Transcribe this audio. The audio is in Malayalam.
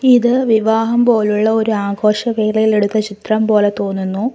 ഇത് വിവാഹം പോലുള്ള ഒരു ആഘോഷ വേളയിൽ എടുത്ത ചിത്രം പോലെ തോന്നുന്നു.